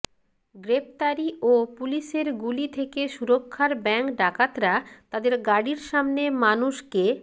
গ্রেফতারি ও পুলিশের গুলি থেকে সুরক্ষার ব্যাঙ্কডাকাতরা তাদের গাড়ির সামনে মানুষ কে